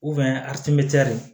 atimɛtɛri